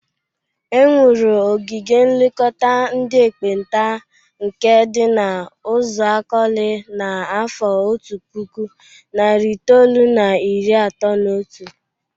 E nwuru ogige nlekọta ndị ekpenta nke dị n'Uzuakọlị na afọ otu puku, nari itoolu na iri atọ na otu.